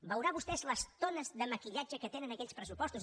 veurà vostè les tones de maquillatge que tenen aquells pressupostos